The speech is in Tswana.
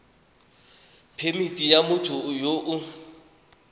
phemithi ya motho yo o